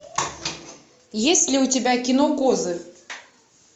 есть ли у тебя кино козы